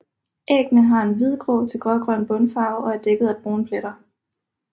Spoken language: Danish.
Æggene har en hvidgrå til grågrøn bundfarve og er dækket af brune pletter